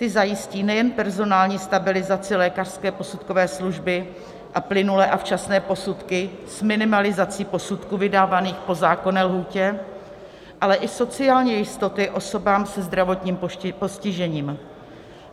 Ty zajistí nejen personální stabilizaci lékařské posudkové služby a plynulé a včasné posudky s minimalizací posudků vydávaných po zákonné lhůtě, ale i sociální jistoty osobám se zdravotním postižením.